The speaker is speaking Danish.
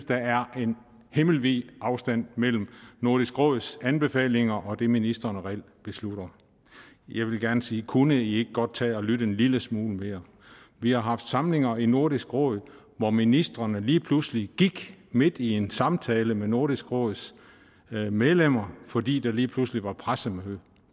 der er en himmelvid afstand mellem nordisk råds anbefalinger og det ministrene reelt beslutter jeg vil gerne sige kunne i ikke godt tage at lytte en lille smule mere vi har haft samlinger i nordisk råd hvor ministrene lige pludselig gik midt i en samtale med nordisk råds medlemmer fordi der lige pludselig var pressemøde